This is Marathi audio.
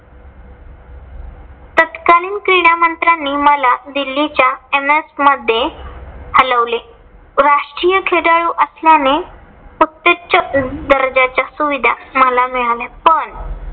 आणि क्रीडा मंत्र्यांनी मला दिल्लीच्या एम्स मध्ये हलवले. राष्ट्रीय खेळाडू असल्याने प्रत्यक्ष उच्च दर्जाच्या सुविधा मला मिळाल्या. पण